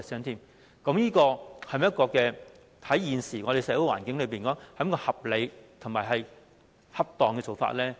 那麼，對於現時的社會環境而言，這是否合理和恰當的做法呢？